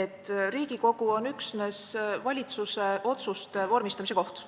et Riigikogu on üksnes valitsuse otsuste vormistamise koht.